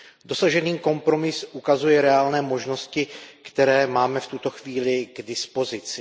Dosažený kompromis ukazuje reálné možnosti, které máme v tuto chvíli k dispozici.